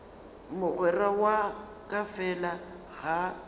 mogwera wa ka fela ga